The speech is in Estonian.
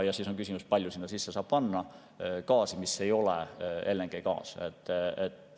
Ja siis on küsimus, kui palju sinna sisse saab panna gaasi, mis ei ole LNG.